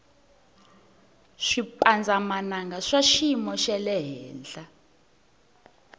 swipandza mananga swa swiyimu xalehenhla